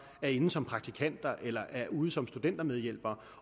er inde som praktikanter eller er ude som studentermedhjælpere